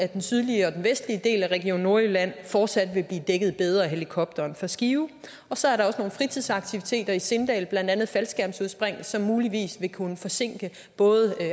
den sydlige og vestlige del af region nordjylland fortsat vil blive dækket bedre af helikopteren fra skive så er der også nogle fritidsaktiviteter i sindal blandt andet faldskærmsudspring som muligvis vil kunne forsinke både